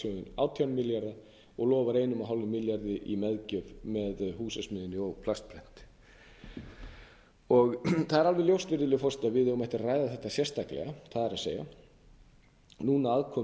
framtakssjóðinn átján og lofar ein fimm milljarði í meðgjöf með húsasmiðjunni ég plastprenti það er alveg ljóst virðulegi forseti að við eigum eftir að ræða þetta sérstaklega það er núna aðkomu